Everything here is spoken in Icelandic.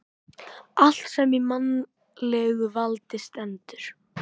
Allt sem í mannlegu valdi stendur.